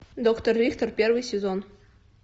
доктор рихтер первый сезон